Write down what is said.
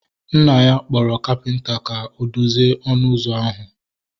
Nna ya kpọrọ kapịnta ka o dozie ọnụ ụzọ ahu